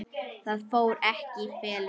Það fór ekki í felur.